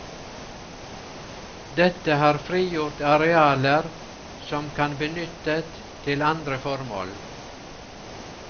Dette har frigjort arealer som kan benyttet til andre formål.